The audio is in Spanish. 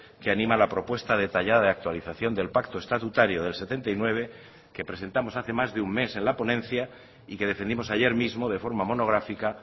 que anima la propuesta detallada de actualización del pacto estatutario del setenta y nueve que presentamos hace más de un mes en la ponencia y que defendimos ayer mismo de forma monográfica